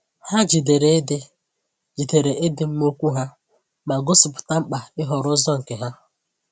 Ha jidere ịdị jidere ịdị mma okwu ha, ma gosipụta mkpa ịhọrọ ụzọ nke ha.